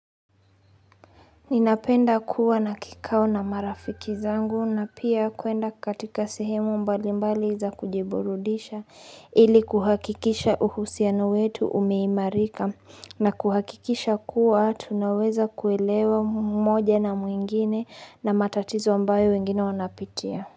Ninapenda kuwa na kikao na marafiki zangu na pia kuenda katika sehemu mbali mbali za kujiburudisha ili kuhakikisha uhusiano wetu umeimarika na kuhakikisha kuwa tunaweza kuelewa mmoja na mwingine na matatizo ambayo wengine wanapitia.